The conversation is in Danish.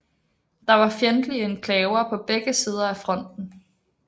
Der var fjendtlige enklaver på begge sider af fronten